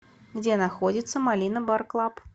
где находится малина бар клаб